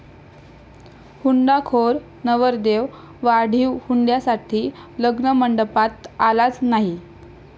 हुंडाखोर' नवरदेव, वाढीव हुंड्यासाठी लग्नमंडपात आलाच नाही!